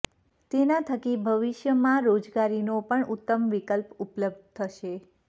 તેના થકી ભવિષ્યમાં રોજગારીનો પણ ઉત્તમ વિકલ્પ ઉપલબ્ધ થશે